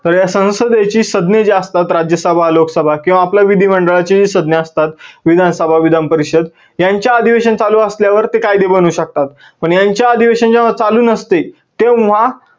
तर या संसदेची सज्ञ जे असतात जे असतात राज्य सभा, लोक सभा किव्वा आपल्या विधी मंडळाच्या जे सज्ञ असतात विधान सभा, विधान परिषद यांचे अधिवेशन चालू असल्यावर ते कायदे बनवू शकतात. पण यांचे अधिवेशन जेव्हा चालू नसते तेव्हा